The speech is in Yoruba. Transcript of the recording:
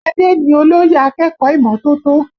Adé ni olóyè akẹ́kọ̀ọ́ ìmọ́tótó